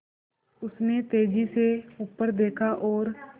उसने तेज़ी से ऊपर देखा और